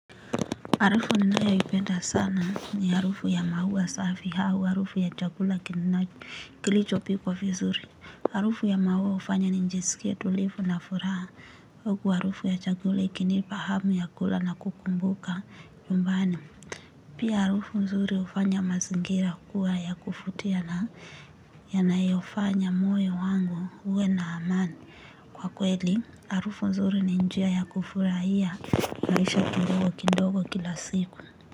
Harufu ninayoipenda sana ni harufu ya maua safi au harufu ya chakula kilichopikwa vizuri. Harufu ya maua hufanya nijisikie tulivu na furaha. Huku harufu ya chakula ikinipa hamu ya kula na kukumbuka nyumbani. Pia harufu nzuri hufanya mazingira kuwa ya kuvutia na yanaylfanya moyo wangu uwe na amani. Kwa kweli, harufu nzuri ni njia ya kufurahia maisha kidogo kidogo kila siku.